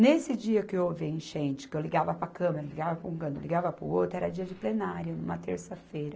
Nesse dia que houve a enchente, que eu ligava para a câmera, ligava para um canto, ligava para o outro, era dia de plenária, numa terça-feira.